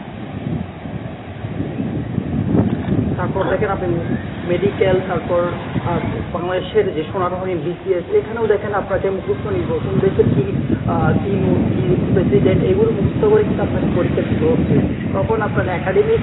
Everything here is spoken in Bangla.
তারপর দেখেন আপনি medical তারপর আহ বাংলাদেশের যে সোনার হরিণ BCS এখানেও দেখেন আপনাকে মুখস্ত নির্ভর কোন দেশের কী আহ কী note কী president এগুলো মুখস্ত করে কিন্তু আপনাকে পরীক্ষা দিতে হচ্ছে তখন আপনার academic.